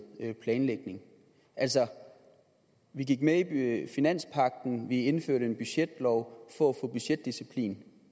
planlægning altså vi gik med i finanspagten vi indførte en budgetlov for at få budgetdisciplin